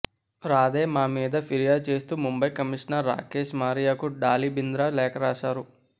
రాధే మా మీద ఫిర్యాదు చేస్తూ ముంబై కమిషనర్ రాకేష్ మారియాకు డాలి బింద్రా లేఖ రాశారు